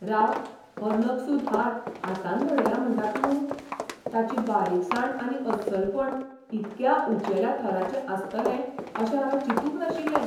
राव, हो नकसूद हार हातान घडयला म्हंटा तूं? ताची बारीकसाण आनी अस्सलपण इतक्या उंचेल्या थराचें आसतलें अशें हांवें चिंतुंक नाशिल्लें!